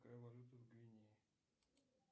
какая валюта в гвинее